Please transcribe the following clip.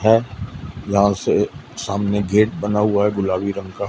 है यहां से सामने गेट बना हुआ हैं गुलाबी रंग का।